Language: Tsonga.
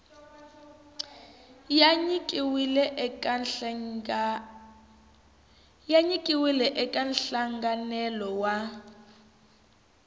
ya nyikiwile eka nhlanganelo wa